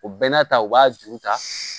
O bɛɛ n'a ta u b'a juru ta